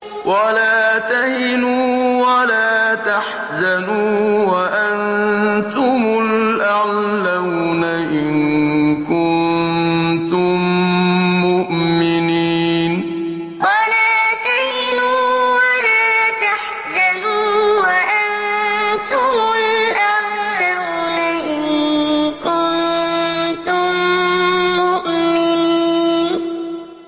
وَلَا تَهِنُوا وَلَا تَحْزَنُوا وَأَنتُمُ الْأَعْلَوْنَ إِن كُنتُم مُّؤْمِنِينَ وَلَا تَهِنُوا وَلَا تَحْزَنُوا وَأَنتُمُ الْأَعْلَوْنَ إِن كُنتُم مُّؤْمِنِينَ